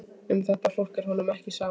Um þetta fólk er honum ekki sama.